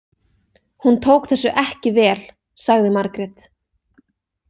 Hún tók þessu ekki vel, sagði Margrét.